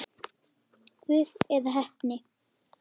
Guð eða heppni?